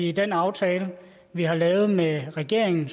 i den aftale vi har lavet med regeringen